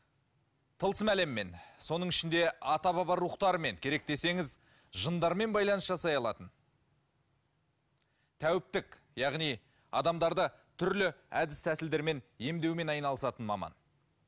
тылсым әлеммен соның ішінде ата баба рухтарымен керек десеңіз жындармен байланыс жасай алатын тәуіптік яғни адамдарды түрлі әдіс тәсілдермен емдеумен айналысатын маман